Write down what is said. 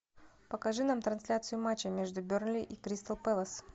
покажи нам трансляцию матча между бернли и кристал пэлас